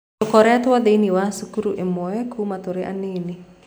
Tũkoretwo thĩinĩ wa cukuru ĩmwe kuuma tũrĩ anini.